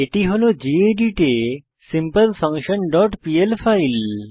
এটি হল গেদিত এ সিম্পলফাঙ্কশন ডট পিএল ফাইল